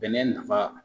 Bɛnɛ nafa